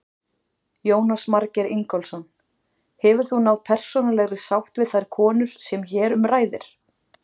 Jónas Margeir Ingólfsson: Hefur þú náð persónulega sátt við þær konur sem hér um ræðir?